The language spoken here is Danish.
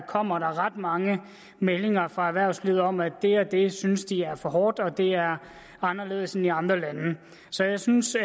kommer der ret mange meldinger fra erhvervslivet om at det og det synes de er for hårdt og at det er anderledes end i andre lande så jeg synes